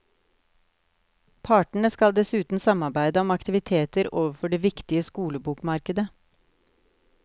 Partene skal dessuten samarbeide om aktiviteter overfor det viktige skolebokmarkedet.